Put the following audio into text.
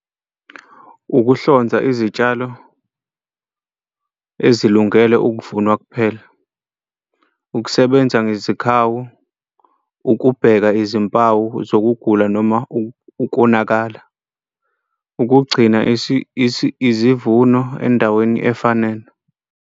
Ukuhlonza izitshalo ezilungele ukuvunwa kuphela, ukusebenza ngezikhawu, ukubheka izimpawu zokugula noma ukonakala, ukugcina izivuno endaweni efanele.